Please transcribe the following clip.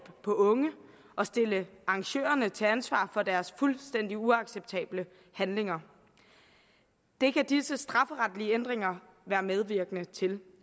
på unge og stille arrangørerne til ansvar for deres fuldstændig uacceptable handlinger det kan disse strafferetlige ændringer være medvirkende til